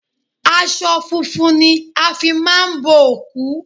Aṣọ funfun ni a fi máa ń òkú